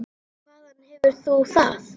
Hvaðan hefur þú það?